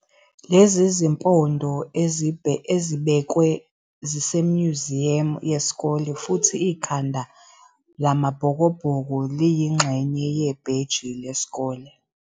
Lezi zimpondo, ezibekwe, zisemnyuziyamu wesikole futhi ikhanda la-Mabhokobhoko liyingxenye yebheji lesikole.